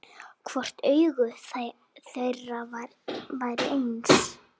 Hvort augu þeirra væru eins.